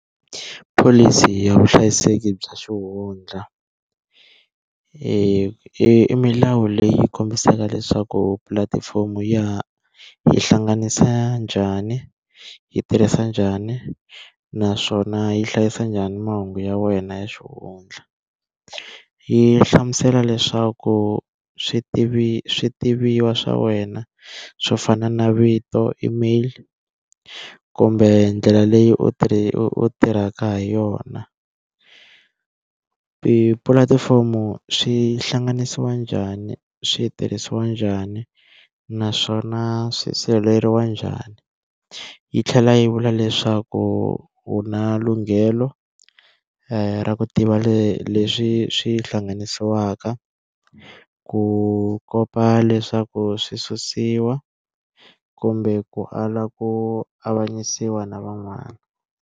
Pholisi ya vuhlayiseki bya xihundla i milawu leyi kombisaka leswaku pulatifomo ya hi hlanganisa njhani, yi tirhisa njhani, naswona yi hlayisa njhani mahungu ya wena ya xihundla, yi hlamusela leswaku swi tiviwa swa wena swo fana na vito, email kumbe ndlela leyi u u tirhaka ha yona, tipulatifomo swi hlanganisiwa njhani swi tirhisiwa njhani naswona swi sirheleriwa njhani yi tlhela yi vula leswaku u na lunghelo ra ku tiva le leswi swi hlanganisiwaka ku kopa leswaku swi susiwa kumbe ku ala ku avanyisiwa na van'wana.